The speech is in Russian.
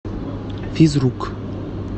физрук